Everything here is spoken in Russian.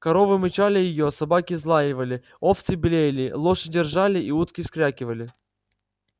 коровы мычали её собаки взлаивали овцы блеяли лошади ржали и утки вскрякивали